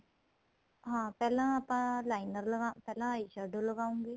ਹਾਂ ਪਹਿਲਾ ਆਪਾਂ liner ਪਹਿਲਾਂ eye shadow ਲਗਾਉਗੇ